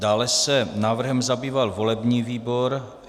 Dále se návrhem zabýval volební výbor.